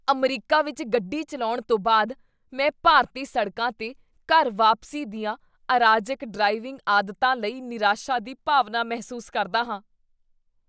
America ਵਿੱਚ ਗੱਡੀ ਚੱਲਾਉਣ ਤੋਂ ਬਾਅਦ, ਮੈਂ ਭਾਰਤੀ ਸੜਕਾਂ 'ਤੇ ਘਰ ਵਾਪਸੀ ਦੀਆਂ ਅਰਾਜਕ ਡ੍ਰਾਈਵਿੰਗ ਆਦਤਾਂ ਲਈ ਨਿਰਾਸ਼ਾ ਦੀ ਭਾਵਨਾ ਮਹਿਸੂਸ ਕਰਦਾ ਹਾਂ।